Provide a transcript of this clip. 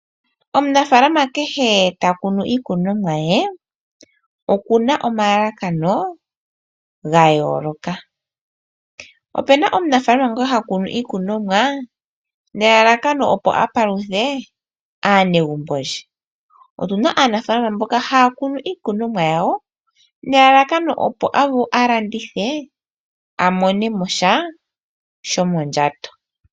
Omunafaalama kehe ta kunu iikunomwa ye oku na omalalakano ga yooloka. Ope na omunafaalama ngoka ha kunu iikunomwa nelalakano opo a paluthe aanegumbo lye . Otu na aanafaalama mboka haya kunu iikunomwa yawo nelalakano opo a landithe a mone mo sha sho mondjato.